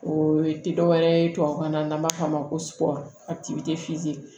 O ye te dɔ wɛrɛ ye tubabukan na n'an b'a f'a ma ko a ti